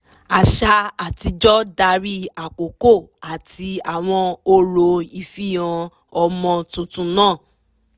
àṣà àtijọ́ darí àkókò àti àwọn orò ìfihàn ọmọ tuntun náà